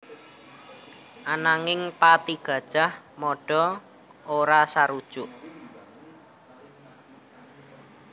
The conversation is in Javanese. Ananging patih Gajah Mada ora sarujuk